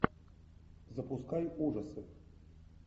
запускай ужасы